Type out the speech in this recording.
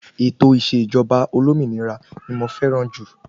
Ètò ìṣèjọba olómìnira ní mo fẹràn jù.